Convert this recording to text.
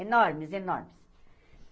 Enormes, enormes.